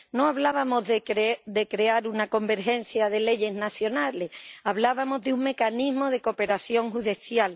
No hablábamos de crear una convergencia de leyes nacionales, hablábamos de un mecanismo de cooperación judicial.